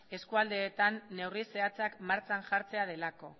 eskualdeetan neurri zehatzak martxan jartzea delako